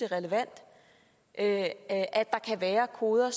relevant at der kan være koder